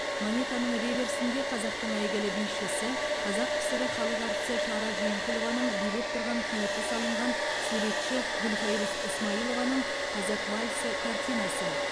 монетаның реверсінде қазақтың әйгілі бишісі қазақ кср халық әртісі шара жиенқұлованың билеп тұрған кейпі салынған суретші гүлфайрус ысмайылованың қазақ вальсі картинасы